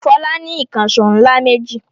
Fọlá ní ìkànṣó ńlá méjì.